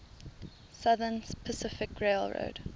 southern pacific railroad